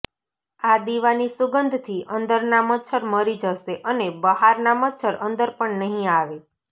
આ દીવાની સુગંધથી અંદરના મચ્છર મરી જશે અને બહારના મચ્છર અંદર પણ નહિં આવે